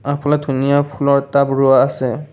আগফালে ধুনীয়া ফুলৰ টাব ৰোৱা আছে।